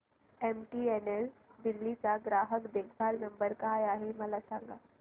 MTNL Delhi चा ग्राहक देखभाल नंबर काय आहे मला सांग